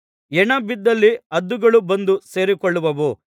ಹೆಣ ಬಿದ್ದಲ್ಲಿ ಹದ್ದುಗಳು ಬಂದು ಸೇರಿಕೊಳ್ಳುವವು